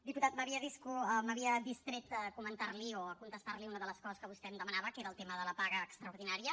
diputat m’havia distret de comentar li o de contestar li una de les coses que vostè em demanava que era el tema de la paga extraordinària